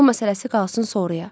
Pul məsələsi qalsın sonraya.